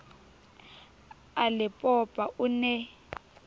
a le popa o ne